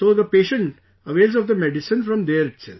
So, the patient avails of the medicine from there itself